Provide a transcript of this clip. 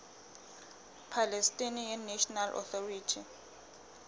palestinian national authority